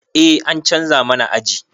Eh an canza mana aji